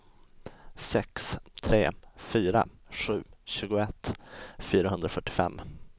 sex tre fyra sju tjugoett fyrahundrafyrtiofem